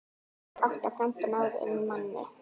Átta framboð náðu inn manni.